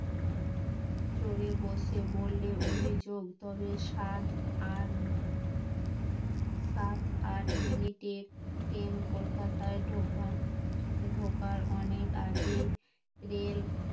চড়ে বসে বললে অভিযোগ তোদের সাত আট সাত আট মিনিটের ট্রেন কলকাতায় ঢোকার ঢোকার অনেক আগে রেল